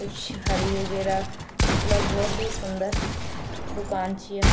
कुछ हरी वगैरा मतलब भोत ही सुन्दर दूकान च या ।